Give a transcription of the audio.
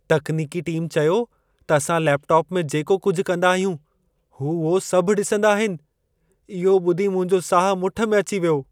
तकनीकी टीम चयो त असां लेपटॉप में जेको कुझि कंदा आहियूं, हू उहो सभ ॾिसंदा आहिन। इहो ॿुधी मुंहिंजो साह मुठु में अची वियो।